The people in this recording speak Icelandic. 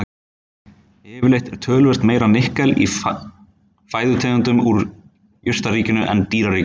Yfirleitt er töluvert meira nikkel í fæðutegundum úr jurtaríkinu en dýraríkinu.